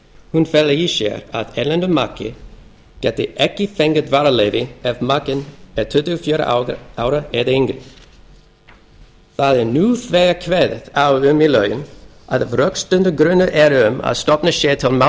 hún felur í sér að erlendur maki getur ekki fengið dvalarleyfi ef makinn er tuttugu og fjögurra ára eða yngri nú þegar er kveðið á um í lögum að ef rökstuddur grunur er um að stofnað sé til